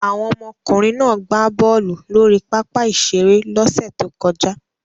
Àwọn ọmọkùnrin náà gbá bọ́ọ́lù lórí pápá-ìṣeré lọ́sẹ̀ tó kọjá.